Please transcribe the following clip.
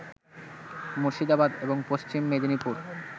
মুর্শিদাবাদ এবং পশ্চিম মেদিনীপুর